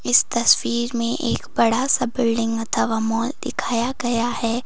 इस तस्वीर में एक बड़ा सा बिल्डिंग अथवा मॉल दिखाया गया है।